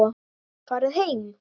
Farið heim!